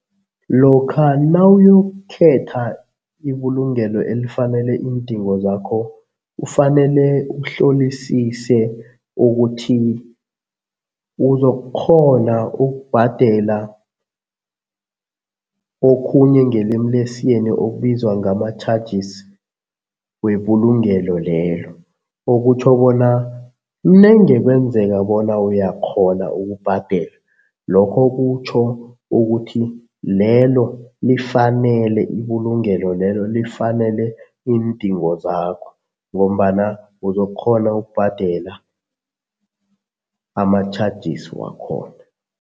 Lokha nawuyokukhetha ibulungelo elifanele iindingo zakho, kufanele uhlolisise ukuthi uzokukghona ukubhadela okhunye ngelimi lesiyeni okubizwa ngama-charges webulungelo lelo. Okutjho bona nenge kwenzeka bona uyakghona ukubhadela, lokho kutjho ukuthi lelo lifanele, ibulungelo lelo, lifanele iindingo zakho ngombana uzokukghona ukubhadela ama-charges wakhona.